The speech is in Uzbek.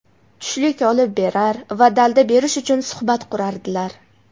tushlik olib berar va dalda berish uchun suhbat qurardilar.